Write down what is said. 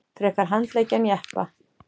Frekar handleggi en jeppa